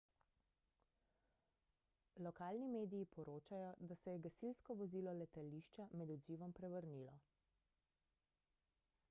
lokalni mediji poročajo da se je gasilsko vozilo letališča med odzivom prevrnilo